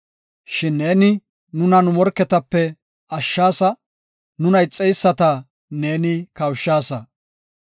Shin ne nuna nu morketape ashshaasa; nuna ixeyisata neeni kawushaasa.